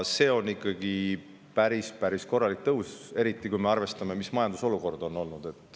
See on ikkagi päris korralik tõus, eriti kui me arvestame, missugune on olnud majandusolukord.